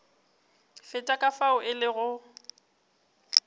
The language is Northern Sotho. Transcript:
feta ka fao e lego